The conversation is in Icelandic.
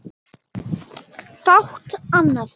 Fátt annað.